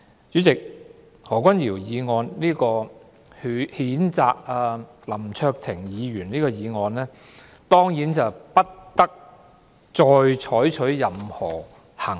主席，對於何君堯議員動議譴責林卓廷議員的議案，本會當然不應再採取任何行動。